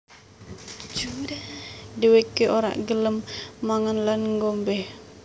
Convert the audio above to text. Dheweke ora gelem mangan lan ngombe